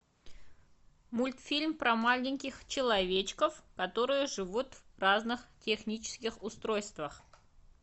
мультфильм про маленьких человечков которые живут в разных технических устройствах